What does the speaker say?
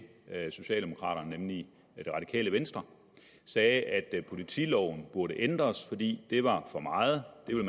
socialdemokraterne nemlig det radikale venstre sagde at politiloven burde ændres fordi det var for meget